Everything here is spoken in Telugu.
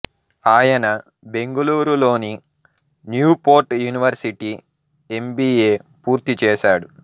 ఆయన బెంగుళూరులోని న్యూ పోర్ట్ యూనివర్సిటీ ఎంబీఏ పూర్తి చేశాడు